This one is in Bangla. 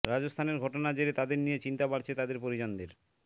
রাজস্থানের ঘটনার জেরে তাঁদের নিয়ে চিন্তা বাড়ছে তাদের পরিজনদের